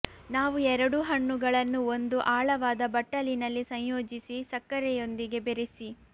ನಾವು ಎರಡೂ ಹಣ್ಣುಗಳನ್ನು ಒಂದು ಆಳವಾದ ಬಟ್ಟಲಿನಲ್ಲಿ ಸಂಯೋಜಿಸಿ ಸಕ್ಕರೆಯೊಂದಿಗೆ ಬೆರೆಸಿ